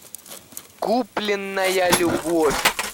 купленная любовь